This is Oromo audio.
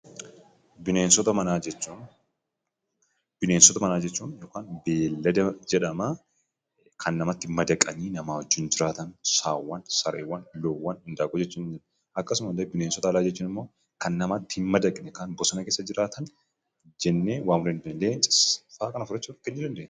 Bineensota manaa jechuun yookaan beeladaa jedhama kan namatti madaqanni nama wajjiin jiraataan Sawwan, Sarrewwan, Lowwan, Indaqowwan jechuun. Akkasuma illee bineessota alaa jechuun immoo kan namatti hin madaqane kan bosona keessa jirataan jene waamuu dandeenya.